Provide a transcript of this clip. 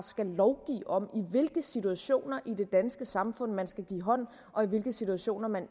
skal lovgive om i hvilke situationer i det danske samfund man skal give hånd og i hvilke situationer man